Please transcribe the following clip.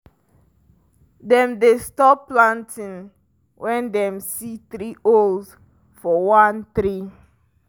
dem dey stop planting when dem see three owls for one tree.